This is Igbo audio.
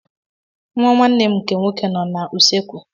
Nwa nwanne m nke nwoke nọ n'usekwu.